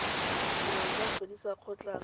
ditirelo tsa go fedisa kgotlang